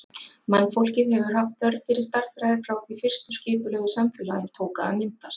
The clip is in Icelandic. Mannfólkið hefur haft þörf fyrir stærðfræði frá því fyrstu skipulögðu samfélögin tóku að myndast.